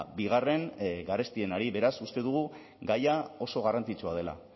bigarren garestienari beraz uste dugu gaia oso garrantzitsua dela